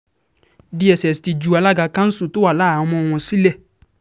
dss ti um ju alága kanṣu tó wà láhàámọ̀ wọn sílẹ̀ um